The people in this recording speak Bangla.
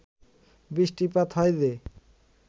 বৃষ্টিপাত হয় যে